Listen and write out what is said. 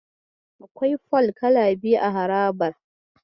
Akwai fol kala biyu a harabar.